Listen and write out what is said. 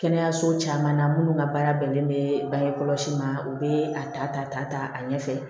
Kɛnɛyaso caman na minnu ka baara bɛnnen bɛ bange kɔlɔsi ma u bɛ a ta ta a ɲɛ fɛ